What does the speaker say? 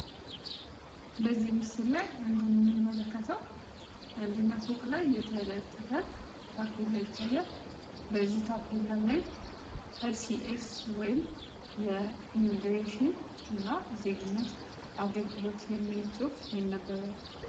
በዚህ ምስል እንደምንመለከተው አንደኛው ፎቅ ላይ የተለጠፈ ታፔላ ይታያል በዚህ ታፔላ ላይ የኢሚግሬሽን ዜግነት አገልግሎት የሚል ፅሁፍ ይነበባል።